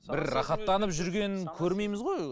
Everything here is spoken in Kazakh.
бір рахаттанып жүргенін көрмейміз ғой